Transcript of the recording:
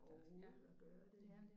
Overhovedet at gøre det